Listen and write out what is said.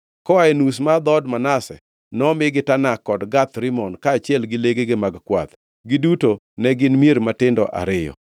Koa e nus mar dhood Manase nomigi Tanak kod Gath Rimon, kaachiel gi legegi mag kwath. Giduto ne gin mier matindo ariyo.